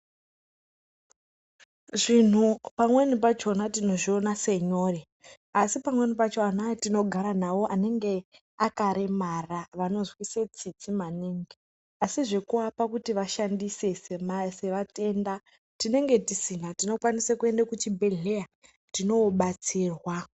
Zvinhu pamweni pakona unozviona senyore asi pamweni pakona ana atinogara nawo anenge akaremara vanozwisa tsitsi maningi asi zvekuvapa kuti vashandise sevatenda tinenge tisina tinokwanisa kuenda kuchibhedhlera tinowo batsirwa.